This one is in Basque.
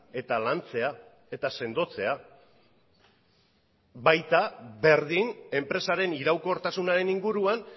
eta lantzea eta sendotzea baita berdin enpresaren iraunkortasunaren inguruan